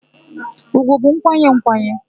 Ùgwù bụ nkwanye nkwanye.